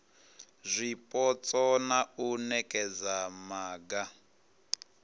zwipotso na u nekedza maga